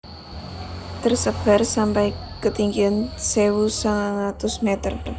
Tersebar sampai ketinggian sewu mangatus meter